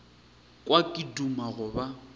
kwa ke duma go ba